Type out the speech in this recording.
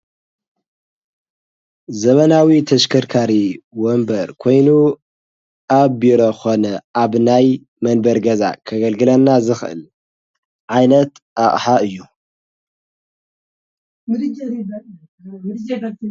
ዘበናዊ ተሽከርካ ወንበር ኮይኑ ኣብ ቢሮ ኾነ ኣብ ናይ መንበሪ ገዛ ከገልግለና ዝኽእል ዓይነት ኣቕሓ እዩ።